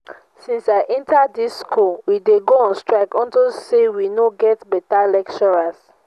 since i enter dis school we dey go on strike unto say we no get beta lecturers